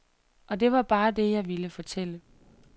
Og det var bare det, jeg ville fortælle.